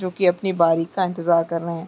जो की अपनी बारी का इंतिजार कर रहै है।